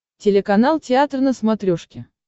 телеканал театр на смотрешке